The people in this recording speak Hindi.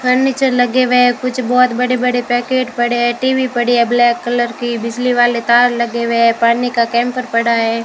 फर्नीचर लगे हुए है कुछ बहुत बड़े बड़े पैकेट पड़े हैं टी_वी पड़ी है ब्लैक कलर की बिजली वाले तार लगे हुए है पानी का कैंपर पड़ा है।